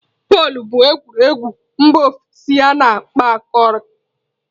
Bọọlụ bụ egwuregwu mba ofesi a na-akpọkarị.